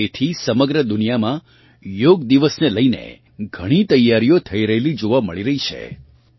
અને તેથી સમગ્ર દુનિયામાં યોગ દિવસ ને લઇને ઘણી તૈયારીઓ થઈ રહેલી જોવાં મળી રહી છે